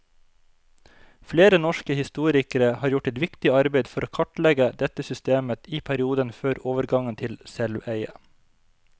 Flere norske historikere har gjort et viktig arbeid for å kartlegge dette systemet i perioden før overgangen til selveie.